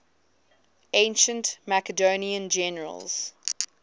ancient macedonian generals